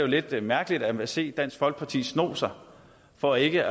lidt mærkeligt at se dansk folkeparti sno sig for ikke